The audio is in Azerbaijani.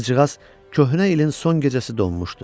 Qızcığaz köhnə ilin son gecəsi donmuşdu.